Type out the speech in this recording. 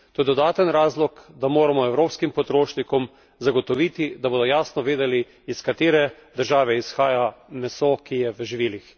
To je dodaten razlog, da moramo evropskim potrošnikom zagotoviti, da bodo jasno vedeli, iz katere države izhaja meso, ki je v živilih.